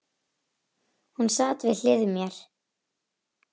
Hún sat við hlið mér.